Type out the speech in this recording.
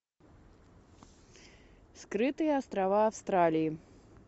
скрытые острова австралии